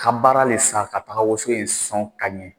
Ka baara len sa ka taga woson in sɔn ka ɲɛ.